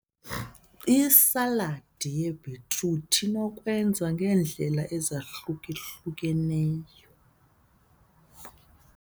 Isaladi yebhitruthi inokwenziwa ngeendlela ezahluka-hlukileyo.